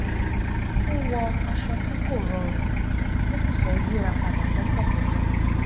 ó wọ aṣọ tí kò rọrùn ó sì fẹ́ yíra padà lẹ́sẹ̀kẹsẹ̀